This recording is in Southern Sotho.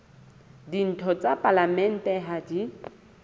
ditho tsa palamente ha di